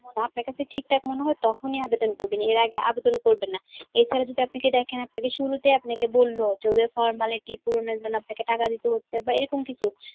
আপনার কাছে ঠিকঠাক মনে হয় তখনই আবেদন করবেন. এর আগে আবেদন করবেন না. এছাড়া যদি আপনাকে দেখেন আপনাকে শুরুতে আপনাকে বলল যে ওদের formality পূরণের জন্য আপনাকে টাকা দিতে হচ্ছে বাহঃ এরকম কিছু.